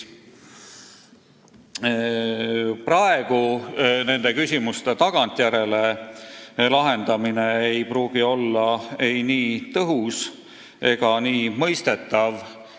Praegu nende küsimuste tagantjärele lahendamine ei pruugi olla nii tõhus ega nii mõistetav.